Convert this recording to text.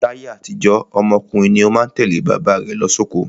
Láyé àtijó, ọmọ ọkùnrin ni ó má ń tẹ̀lé bàbá rẹ̀ lọ sóko.